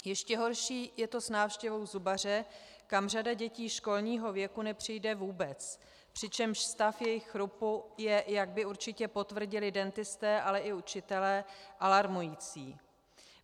Ještě horší je to s návštěvou zubaře, kam řada dětí školního věku nepřijde vůbec, přičemž stav jejich chrupu je, jak by určitě potvrdili dentisté, ale i učitelé, alarmující.